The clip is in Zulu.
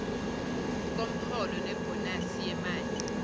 komholo nebhonasi yemali